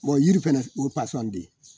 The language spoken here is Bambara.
yiri fɛnɛ o ye